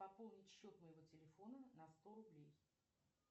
пополнить счет моего телефона на сто рублей